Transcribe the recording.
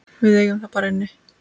Við eigum það bara inni.